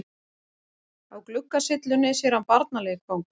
Á gluggasyllunni sér hann barnaleikfang.